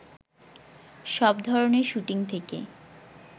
সব ধরনের শুটিং থেকে